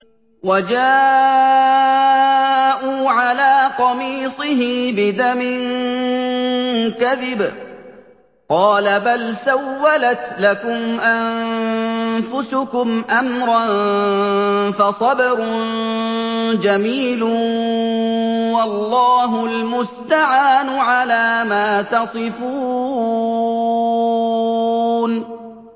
وَجَاءُوا عَلَىٰ قَمِيصِهِ بِدَمٍ كَذِبٍ ۚ قَالَ بَلْ سَوَّلَتْ لَكُمْ أَنفُسُكُمْ أَمْرًا ۖ فَصَبْرٌ جَمِيلٌ ۖ وَاللَّهُ الْمُسْتَعَانُ عَلَىٰ مَا تَصِفُونَ